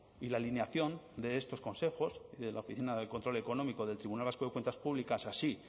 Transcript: y la alineación de estos consejos y de la oficina de control económico del tribunal vasco de cuentas públicas así